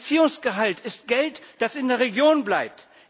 Ein Erziehungsgehalt ist Geld, das in der Region bleibt.